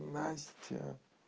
настя